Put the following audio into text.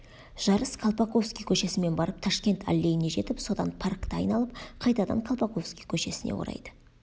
жарыс колпаковский көшесімен барып ташкент аллейіне жетіп содан паркті айналып қайтадан колпаковский көшесін орайды